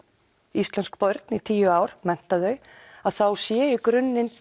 íslensk börn í tíu ár mennta þau þá sé í grunninn